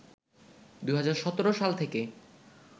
২০১৭ সাল থেকে